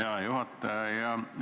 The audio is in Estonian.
Hea juhataja!